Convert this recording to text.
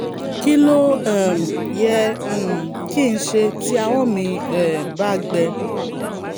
kí ló um yẹ um kí n ṣe tí ahọ́n mi um bá gbẹ?